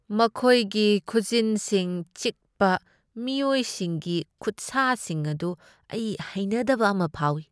ꯃꯈꯣꯏꯒꯤ ꯈꯨꯖꯤꯟꯁꯤꯡ ꯆꯤꯛꯄ ꯃꯤꯑꯣꯏꯁꯤꯡꯒꯤ ꯈꯨꯠꯁꯥꯁꯤꯡ ꯑꯗꯨ ꯑꯩ ꯍꯩꯅꯗꯕ ꯑꯃ ꯐꯥꯎꯏ꯫